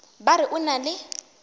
ba re o na le